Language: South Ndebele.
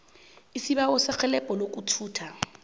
isibawo serhelebho lokuthutha